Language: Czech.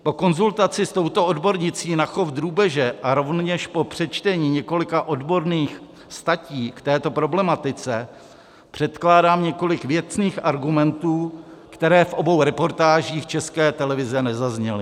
Po konzultaci s touto odbornicí na chov drůbeže a rovněž po přečtení několika odborných statí k této problematice předkládám několik věcných argumentů, které v obou reportážích České televize nezazněly.